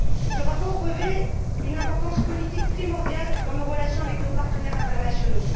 Ce rapport revêt une importance politique primordiale dans nos relations avec nos partenaires internationaux.